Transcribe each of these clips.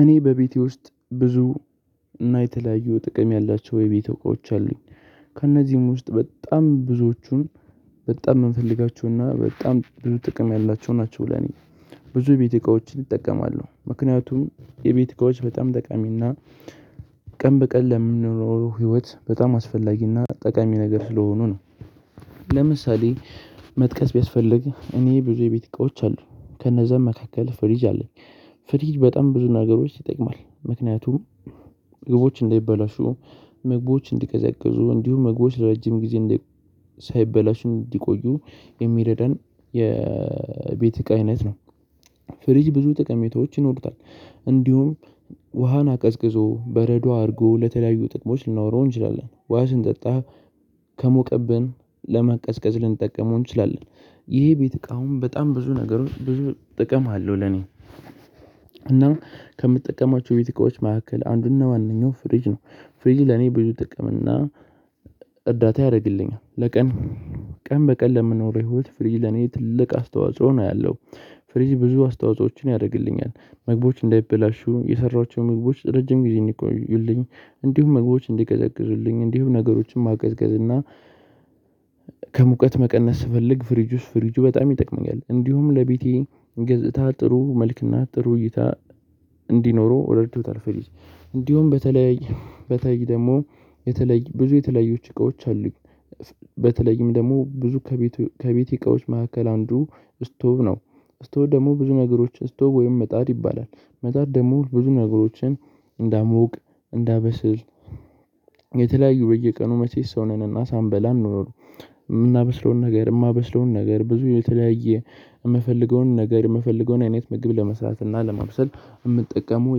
እኔ በቤቴ ውስጥ ብዙ እና የተለያዩ ጥቅም ያላቸው የቤት እቃዎች አሉኝ ከእነዚህም ውስጥ በጣም ብዙዎቹን በጣም የምንፈልጋችሁና በጣም ብዙ ጥቅም ያላችሁ ናቸው ለኔ። ብዙ የቤት እቃዎችን እጠቀማለሁ። ምክንያቱም የቤት እቃዎች በጣም ጠቃሚና ቀን በቀን ለምንኖረው ህይወት በጣም አስፈላጊና ጠቃሚ ነገር ስለሆኑ ነው። ለምሳሌ መጥቀስ ቢያስፈልግ እኔ ብዙ የቤት እቃዎች አሉኝ ከነዛም መካከል ፍሪጅ አለኝ ፍሪጅ በጣም ብዙ ነገሮች ይጠቅማል ምክንያቱም ምግቦች እንዲበላሹ ምግቦች እንዲቀዘቅዙ እንዲሁም ምግቦች ለረጅም ጊዜ ሳይበላሽን እንዲቆዩ የሚረዳን የቤት እቃ አይነት ነው። ፍሪጅ ብዙ ጠቀሜታዎች ይኖሩታል። እንዲሁም ውሃን አቀዝቅዞ በረዶ አድርጎ ለተለያዩ ጥቅሞች ልናውለው እንችላለን ዉሃ ስንጠጣ ከሞቀብን ለማቀዝቀዝ ልንጠቀመው እንችላለን። ይህ የቤት እቃውም በጣም ብዙ ነገሮች ብዙ ጥቅም አለው ለኔ። እና ከምጠቀማቸው ቤተኮች መካከል አንድነው ማንኛውም ፍሪጅ ነው ፍሪጅ ለኔ ብዙ ጥቅም እና እርዳታ ያደርግልኛል። ለቀን ቀን በቀን ለምኖረው ህይወት ፍሪጅ ለኔ ትልቅ አስተዋጽኦ ነው ያለው። ፍሪጅ ብዙ አስተዋጽኦዎችን ያደርግልኛል መግቦች እንዳይበላሹ የሰራቸውን መግቦች ረጅም ጊዜ እንዲቆዩልኝ እንዲሁም ምግቦች እንዲቀዘቅዝልኝ እንዲሁም ነገሮችን ማቀዝቀዝ እና ከሙቀት መቀነስ ስፈልግ ፍሪጁ ውስጥ ፍሪጁ በጣም ይጠቅምኛል። እንዲሁም ለቤቴ ገጽታ ጥሩ መልክና ጥሩ እይታ እንዲኖረው እረድቶታል ፍሪጅ። እንዲሁም በተለይ በተለይ ደግሞ የተለይ ብዙ የተለይ እቃዎች አሉኝ። በተለይም ደግሞ ብዙ ከቤተ እቃዎች መካከል አንዱ ስቶብ ነው ስቶቭ ደግሞ ብዙ ነገሮች ስቶቭ ወይም ምጥድ ይባላል። ምጣድ ደግሞ ብዙ ነገሮችን እንዳሞቅ እንዳበስል የተለያዩ በየቀኑ መቼስ ሰው ነንና ሳንበላ አንኖርም። የምናበስለውን ነገር የማበስለውን ነገር ብዙ የተለያየ የምፈልገውን ነገር የምፈልገውን አይነት ምግብ ለመስራት እና ለመብሰል የምትጠቀመው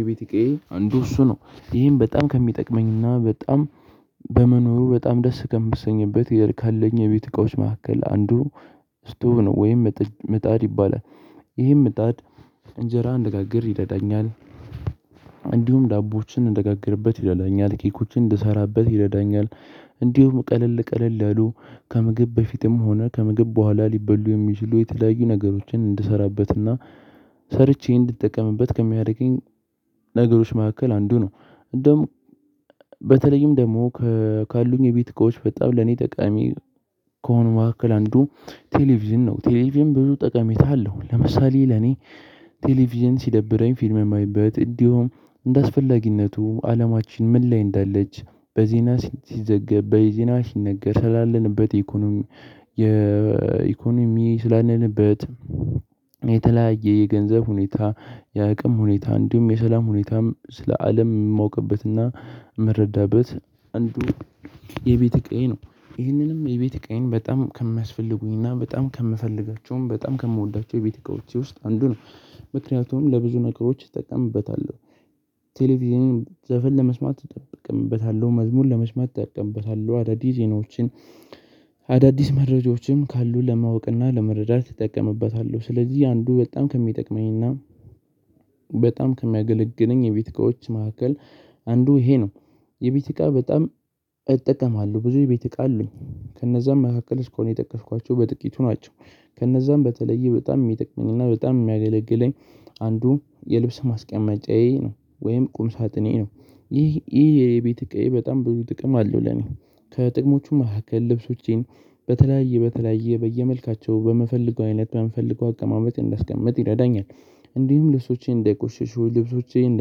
የቤት እቃዬ አንዱ እሱ ነው። ይሄን በጣም ከሚጠቅመኝና በጣም በመኖሩ በጣም ደስ ከምሰኝበት ካለኝ የቤት እቃዎች መካከል አንዱ ስቱብ ነው ወይም ምጣድ ይባላል። ይህም ምጣድ እንጀራ እንድጋግር ይረዳኛል እንዲሁም ዳቦዎችን እንድጋግርበት ይረዳኛል ኬኮችን እንድሰራበት ይለዳኛል። እንዲሁም ቀለል ቀለል ያሉ ከምግብ በፊትም ሆነ ከምግብ በኋላ ሊበሉ የሚችሉ የተለያዩ ነገሮችን እንድሰራበትና ሰርቼ እንድጠቀምበት ከሚያደርገኝ ነገሮች መካከል አንዱ ነው። እንደዉም በተለይም ደግሞ ካሉኝ የቤት እቃዎች በጣም ለኔ ጠቃሚ ከሆኑ መካከል አንዱ ቴሌቪዥን ነው ቴሌቪዥን ብዙ ጠቀሜታ አለው ለምሳሌ ለኔ ተለቪዥን ሲደብረኝ ፊልም የማየበት እንዲሁም እንደአስፈላጊነቱ አለማችን ምን ላይ እንዳለች በዜና ሲዘገብ በዜና ሲነገር ስላለንበት የኢኮኖሚ ስላልነበበት የተለያየ የገንዘብ ሁኔታ የአቅም ሁኔታ እንዲሁም የሰላም ሁኔታም ስለ አለም የማውቅበትና የምረዳበት አንዱ የቤት እቃዬ ነው ይህንንም የቤት እቃዬን በጣም ከምያስፈልጉኝና በጣም ከምፈልጋቸውም በጣም ከምወዳቸው የቤት እቃዎቼ ውስጥ አንዱ ነው። ምክንያቱም ለብዙ ነገሮች እጠቀምበታለሁ። ቴሌቪዥን ዘፈን ለመስማት እጠብቅበታለሁ መዝሙር ለመስማት እጠብቅበታለሁ አዳዲስ ዜናዎችን አዳዲስ መረጃዎችን ካሉ ለማወቅና ለመረዳት እጠቀምበታል ስለዚህ አንዱ በጣም ከሚጠቅመኝና በጣም ከሚያገለግለኝ የቤት እቃዎች መካከል አንዱ ይሄ ነው። የቤት እቃ በጣም እጠቀማለሁ ብዙ የቤት እቃ አሉኝ ከነዛም መካከል እስካሁን የጠቀስኳቸው በጥቂቱ ናቸው ከነዛም በተለይ በጣም የሚጠቅመኝና በጣም የሚያገለግለኝ አንዱ የልብስ ማስቀመጫዬ ነው ወይም ቁም ሳጥኔ ነው ይህ ይሄ የቤት እቃዬ በጣም ብዙ ጥቅም አለው ለኔ ከጥቅሞቹ መካከል ልብሶቼን በተለያየ በተለያየ በየመልካቸው በመፈለጉ አይነት በመፈለጉ አቀማመጥ እንዳስቀምጥ ይረዳኛል። እንዲሁም ልብሶቼን እንዳይቆሽሹ ልብሶቼን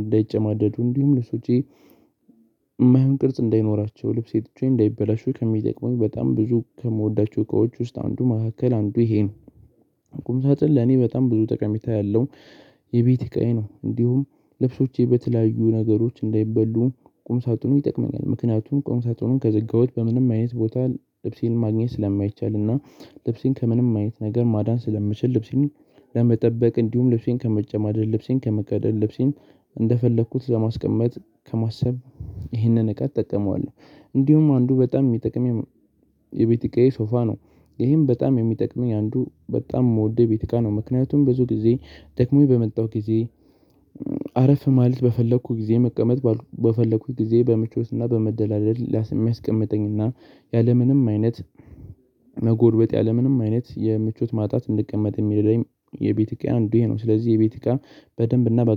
እንዳይጨማደዱ እንዲሁም ልብሶቼ የማይሆን ቅርጽ እንዳይኖራቸው ልብሶቼ እንዳይበላሹ ከሚጠቅመኝ በጣም ብዙ ከምወዳቸው እቃዎች ውስጥ አንዱ መካከል አንዱ ይሄ ነው። ቁም ሳጥን ለኔ በጣም ብዙ ጠቀሚታ ያለው የቤት እቃዬ ነው እንዲሁም ልብሶቼ በተለያዩ ነገሮች እንዳይበሉ ቁም ሳጥኑ ይጠቅመኛል። ምክንያቱም ቁም ሳጥኑን ከዘጋሁት በምንም አይነት ቦታ ልብሴን ማግኘት ስለማይቻልና ልብሴን ከምንም አይነት ነገር ማዳን ስለምችል ልብሴን ለመጠበቅ እንዲሁም ልብሴን ከመጨማደድ ልብሴን ከመቀደድ ልብሴን እንደፈለኩት ለማስቀመጥ ከማሰብ ይህንን እቃ እጠቀመዋለሁ። እንዲሁም አንዱ በጣም የሚጠቅም የቤት እቃዬዬ ሶፋ ነው ይህም በጣም የሚጠቅመኝ አንዱ በጣም የምወደው ቤት እቃ ነው ምክንያቱም ብዙ ጊዜ ደክሞኝ በመጣው ጊዜ አረፍ ማለት በፈለኩት ጊዜ መቀመጥ በፈለኩት ጊዜ በምቾትና በመደላደል ምያስቀምጠኝና ያለምንም አይነት መጎርበጥ ያለ ምንም አይነት የምቾት ማጣት እንድቀመጥ የሚረዳኝ የቤት እቃዬ አንዱ ይሄ ነው ስለዚህ የቤት እቃ በደንብና